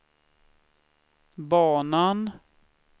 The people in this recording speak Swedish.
banan